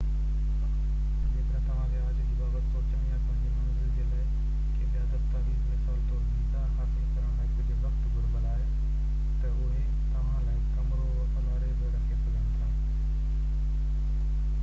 جيڪڏهن توهان کي آڇ جي بابت سوچڻ يا پنهنجي منزل جي لاءِ ڪي ٻيا دستاويز مثال طور ويزا حاصل ڪرڻ لاءِ ڪجهہ وقت گهربل آهي تہ اهي توهان لاءِ ڪمرو والاري بہ رکي سگهن ٿا